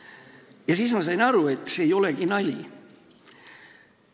Ja siis ma sain aru, et see ei olegi nali.